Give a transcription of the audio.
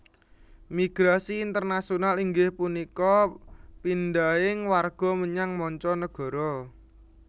Migrasi internasional inggih punika pindhahing warga menyang manca nagara